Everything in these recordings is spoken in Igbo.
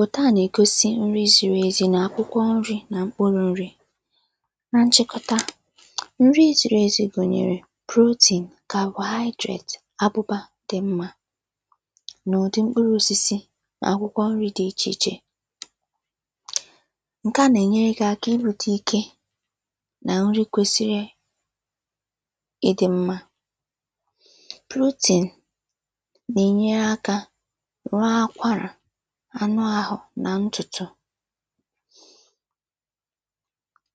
òtuà nà-ègosi nrị zīrī ezi, nà akwụkwọnrị̄ nà mkpụrụ̄nrị̄ na nchịkọta, nrị zīrī ezi gụ̀nyèrè; protein, carbohydrate, abụba dị̄ mmā nà ụ̀dị mkpụrụosisi akwụkwọnrị̄ dị ichè ichè ǹkeà nà-ènyere gị̄ aka inwēte ike nà nrị kwēsiri ịdị̄ mma protein nà-ènye akā rụọ akwarà anụāhụ̄ nà ntùtù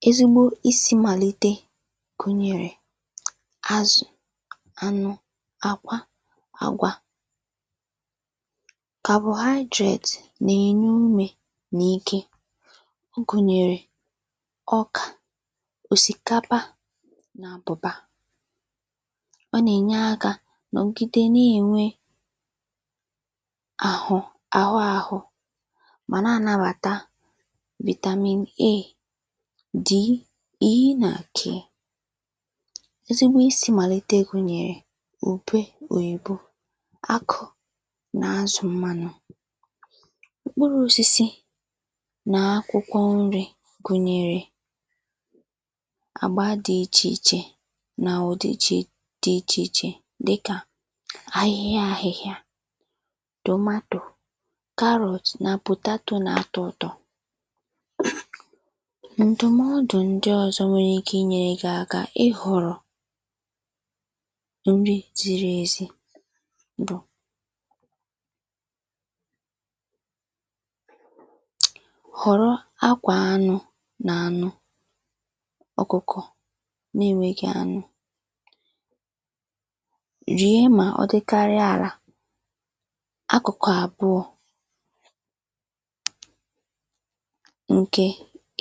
ezigbo isī màlite gụ̀nyèrè azụ̀, anụ, àkwa, àgwà carbohydrate nà-ènye umē nà ike gụ̀nyèrè; ọkà, òsìkapa nà àbụ̀bà ọ nà-ènye akā nọ̀gide na-ènwe ahụ, àhụāhụ̄ mà na-ànabàta vitamin a d, e na k ezigbo isī màlite gụ̀nyèrè; ùbe òyìbo akụ nà azụ̀ mmānụ mkpụrụ̄osisi nà akwụkwọnrị̄ gụ̀nyèrè àma dị̄ ichè ichè nà ọ̀dịjị̄ dị ichè ichè ahịhịa ahịhịa tòmatò carrot nà potato na-atọ ụ̄tọ̄ ǹdụ̀mọdụ̀ ndị ọ̄zọ̄ nwere ike inyērē gị aka ịhọ̀rọ̀ nrị zīrī ezi bụ̀ họ̀rọ akwà anụ̄ nà anụ ọ̀kụkọ̀ na-enweghī anụ nèe mà ọ dịkarịa àlà akụ̀kụ̀ àbụọ̄ ǹkè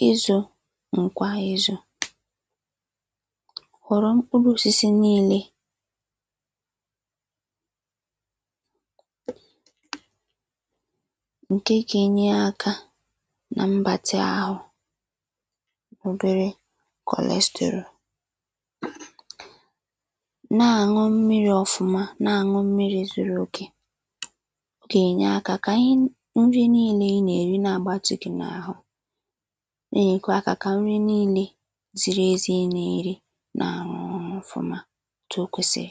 ịzụ̄ ǹkwa ịzụ̄ họ̀rọ mkpụrụ̄osisi niīlē ǹke gā-enye akā na mgbatị āhụ̄ obere cholesterol na-àn̄ụ mmirī ọfụma, na-àn̄ụ mmirī zuru òkè ọ gà-ènye akā kà ihn nri niīle i nà-èri na-àgbatị gị̄ n’àhụ na-ènyekwa akā kà nri niīle ziri ezi i nà-èri na-àn̄ụ ọfụma ètù o kwèsìrì